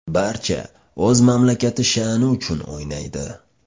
Barcha o‘z mamlakati sha’ni uchun o‘ynaydi.